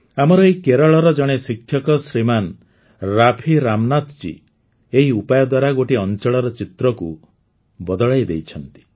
ଆମର ଏଠି କେରଳର ଜଣେ ଶିକ୍ଷକ ଶ୍ରୀମାନ ରାଫି ରାମନାଥ ଜୀ ଏହି ଉପାୟ ଦ୍ୱାରା ଗୋଟିଏ ଅଞ୍ଚଳର ଚିତ୍ରକୁ ହିଁ ବଦଳାଇ ଦେଇଛନ୍ତି